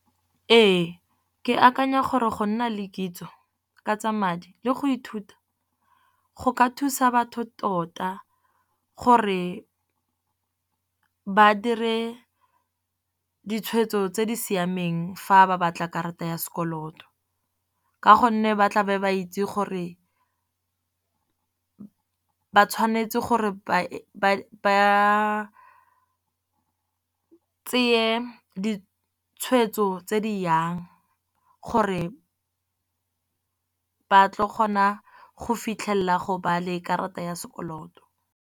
Ee ke akanya gore go nna le kitso ka tsa madi, le go ithuta go ka thusa batho tota gore ba dire ditshwetso tse di siameng fa ba batla karata ya sekoloto. Ka gonne ba tla be ba itse gore ba tshwanetse gore ba tseye ditshwetso tse di yang, gore ba tlo kgona go fitlhelela go ba le karata ya sekoloto.